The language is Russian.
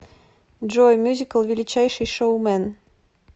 джой мюзикл величайший шоумэн